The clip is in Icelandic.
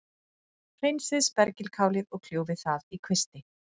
Hreinsið spergilkálið og kljúfið það í kvisti.